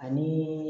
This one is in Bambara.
Ani